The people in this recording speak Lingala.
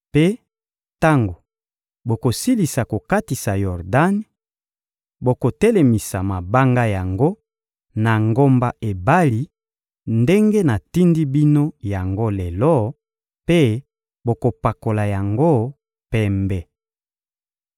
Mpe tango bokosilisa kokatisa Yordani, bokotelemisa mabanga yango na ngomba Ebali ndenge natindi bino yango lelo, mpe bokopakola yango pembe.